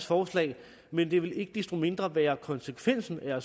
forslag men det vil ikke desto mindre være konsekvensen af